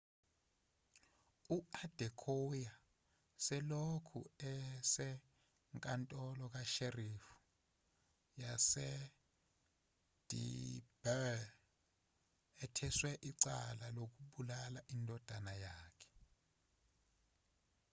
u-adekoya selokhu esenkantolo ka-sheriff yas-edinburgh etheswe icala lokubulala indodana yakhe